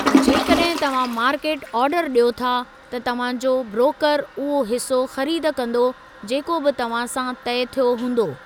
जेकॾहिं तव्हां मार्केट आर्डरु ॾियो था, त तव्हां जो ब्ररोकरु उहो हिस्सो ख़रीद कंदो जेको बि तव्हां सां तइ थियो हूंदो।